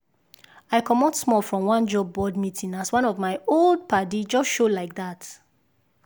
i comot small from one job board meeting as one of my old padi just show like that.